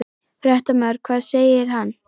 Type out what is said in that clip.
Fréttamaður: Hvað segir hann?